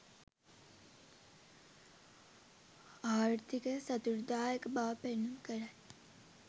ආර්ථිකය සතුටුදායක බව පෙන්නුම් කරයි